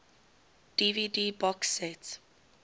dvd box set